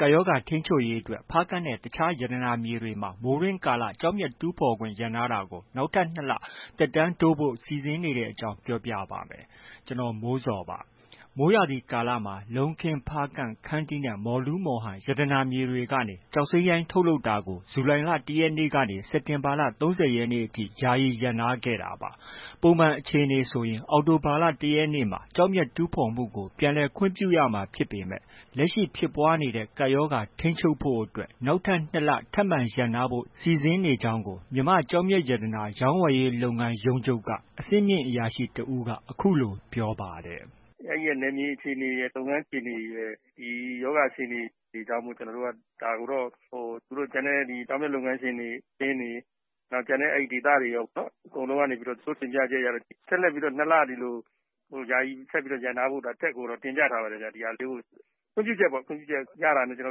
ကပ်ရောဂါထိန်းချုပ်ရေးအတွက် ဖားကန့်နဲ့ အခြားရတနာမြေတွေမှာ မိုးတွင်းကာလ ကျောက်မျက် တူးဖော်ခွင့် ရပ်နားထားတာကို နောက်ထပ် ၂ လ သက်တမ်းတိုးဖို့ စီစဉ်နေတဲ့အကြောင်းကို ဗွီအိုအေမြန်မာပိုင်းသတင်းထောက် ကိုမိုးဇော်က ပြောပြပေးပါမယ်။ မိုးရာသီကာလမှာ လုံးခင်း၊ ဖားကန့်၊ ခန္တီးနဲ့ မော်လူး-မော်ဟန် ရတနာမြေတွေကနေ ကျောက်စိမ်းရိုင်း ထုတ်လုပ်တာကို ဇူလိုင်လ ၁ ရက်နေ့ကနေ စက်တင်ဘာလ ၃၀ ရက်နေ့အထိ ယာယီ ရပ်နားထားခဲ့တာပါ။ ပုံမှန်အခြေအနေဆိုရင် အောက်တိုဘာလ ၁ ရက်နေ့မှာ ကျောက်မျက်တူးဖော်မှုကို ပြန်လည်ခွင့်ပြုရမှာ ဖြစ်ပေမဲ့ လက်ရှိ ဖြစ်ပွားနေတဲ့ ကပ်ရောဂါထိန်းချုပ်နိုင်ဖို့အတွက် နောက်ထပ် ၂ လ ထပ်မံရပ်နားဖို့ စီစဉ်နေကြောင်း မြန်မာ့ကျောက်မျက်ရတနာရောင်းဝယ်ရေး လုပ်ငန်းရုံးချုပ်က အဆင့်မြင့်အရာရှိတစ်ဦးက အခုလို ပြောပါတယ်။ “အဲဒီက နယ်မြေအခြေအနေရယ်၊ လုပ်ငန်းအခြေအနေရယ်၊ ဒီရောဂါအခြေအနေကြောင့်မို့ ကျနော်တို့က ဒါကိုတော့ ဟို ကျန်တဲ့ ကျောက်မျက်လုပ်ငန်းရှင်တွေ၊ အသင်းတွေ၊ ကျန်တဲ့ဒေသတွေရောပေါ့နော်။ သူတို့ တင်ပြချက်ရတော့ ဆက်လက်ပြီးတော့ ၂ လ ယာယီရပ်နားဖို့ အထက်ကိုတော့ တင်ပြထားပါတယ်ဗျ။ ဒီဟာလေးကို။ ခွင့်ပြုချက်ပေါ့၊ ခွင့်ပြုချက်ရတာနဲ့ ချက်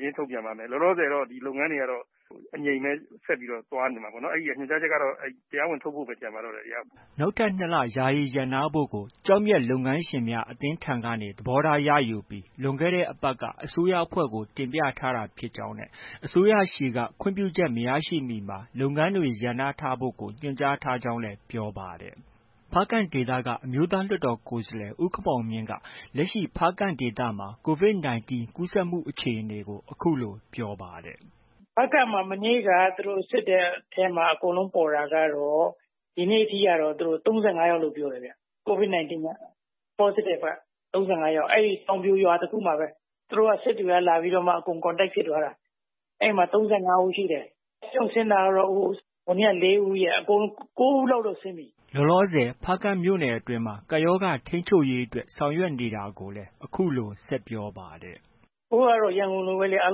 ချင်းထုတ်ပြန်ပါမယ်။ လောလောဆယ်ကတော့ ဒီလုပ်ငန်းတွေက အငြိမ်ပဲ ဆက်ပြီးတော့ သွားနေမှာပေါ့နော်။ အဲဒါ ညွှန်ကြားချက်ကတော့ တရားဝင် ထုတ်ဖို့ပဲ ကျန်ပါတော့တယ်။” နောက်ထပ် ၂ လ ယာယီရပ်နားဖို့ကို ကျောက်မျက်လုပ်ငန်းရှင်များအသင်းထံကနေ သဘောထားရယူပြီး လွန်ခဲ့တဲ့အပတ်က အစိုးရအဖွဲ့ကို တင်ပြထားတာဖြစ်ကြောင်းနဲ့ အစိုးရဆီက ခွင့်ပြုချက်မရရှိမီမှာ လုပ်ငန်းတွေ ရပ်နားထားဖို့ ညွှန်ကြားထားကြောင်းလည်း ပြောပါတယ်။ ဖားကန့်ဒေသက အမျိုးသားလွှတ်တော်ကိုယ်စားလှယ် ဦးခင်မောင်မြင့်က လက်ရှိ ဖားကန့်ဒေသမှာ COVID 19 ကူးစက်မှုအခြေအနေကို အခုလို ပြောပါတယ်။ “ဖားကန့်မှာ မနေ့က သူတို့စစ်တဲ့အထဲမှာ အကုန်လုံးပေါ်တာကတော့ ဒီနေ့ထိကတော့ ၃၅ယောက်လို့ ပြောတယ်ဗျ။ COVID 19 က၊ Positive က ၃၅ ယောက်၊ အဲဒီတောင်ပြိုရွာတစ်ခုမှာပဲ။ သူတို့က စစ်တွေက လာပြီးတော့မှ အကုန် contact ဖြစ်သွားတာ။ အဲဒီမှာ ၃၅ ဦးရှိတယ်။ ဆေးရုံကဆင်းတာကတော့ ဟိုနေ့က ၄ ဦးရယ်၊ အကုန်လုံး ၉ ဦးလောက်တော့ ဆင်းပြီ။” လောလောဆယ် ဖားကန့်မြို့နယ်အတွင်း ကပ်ရောဂါထိန်းချုပ်ရေးအတွက် ဆောင်ရွက်နေတာတွေကိုလည်း အခုလို ဆက်ပြောပါတယ်။ “အခုကတော့ ရန်ကုန်လိုပဲ အား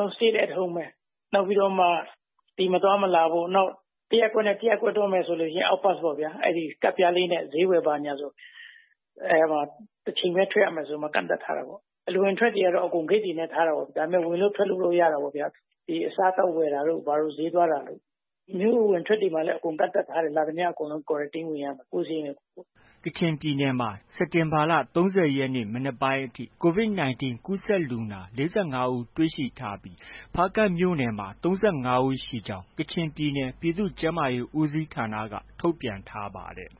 လုံးက Stay at home ပဲ။ နောက်ပြီးတော့မှ အပြင်မသွား၊မလာဖို့၊ နောက် တစ်ရပ်ကွက်နဲ့ တစ်ရပ်ကွက်သွားမယ်ဆို out pass ပေါ့ဗျာ။ ကဒ်ပြားလေးနဲ့ ဈေးဝယ်ဘာညာဆို အဲဒီမှာ တစ်ချိန်ပဲ ထွက်ရမယ်ဆို ကန့်သတ်ထားတာပေါ့။ အဝင်အထွက်တွေကတော့ အကုန် ဂိတ်တွေနဲ့ ထားတာပေါ့။ ဒါပေမဲ့ ဝင်လု့ိထွက်လို့ တော့ ရတာပေါ့။ ဒီ အစားအသောက်ဝယ်တာတို့ ဘာတို့ ဈေးသွားတာတို့။ မြို့အဝင်အထွက်တွေလည်း အကုန်လုံး ကန့်သတ်ထားတယ်။ လာသမျှလူကတော့အကုန်လုံး Quarantine ဝင်ရမယ်။ ကိုယ်စရိတ်နဲ့ ကိုယ်ပေါ့။” ကချင်ပြည်နယ်မှာ စက်တင်ဘာလ ၃၀ ရက် မနက်ပိုင်းအထိ COVID 19 ပိုးတွေ့လူနာ ၄၅ ဦး တွေ့ရှိထားပြီး ဖားကန့်မြို့နယ်မှာ ၃၅ ဦး ရှိကြောင်း ကချင်ပြည်နယ် ပြည်သူ့ကျန်းမာရေး ဦးစီးဌာနက ထုတ်ပြန်ထားပါတယ်